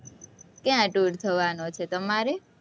ક્યાં ? tour થવાનો છે, તમારે?